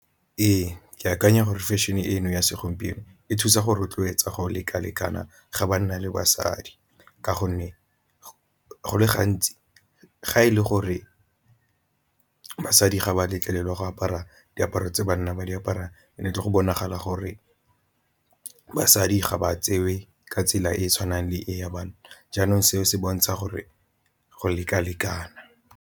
Ee, ke akanya gore fashion-e eno ya segompieno e thusa go rotloetsa go lekalekana ga banna le basadi, ka gonne go le gantsi ga e le gore basadi ga ba letlelelwa go apara diaparo tse banna ba di apara ne tle go bonagala gore basadi ga ba tseiwe ka tsela e e tshwanang le e ya banna. Jaanong seo se bontsha gore go leka-lekana.